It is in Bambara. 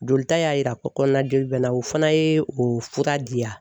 Jolita y'a yira n na ko kɔnɔna jeli bɛ n na o fana ye o fura diya.